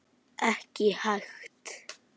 Ekki hægt.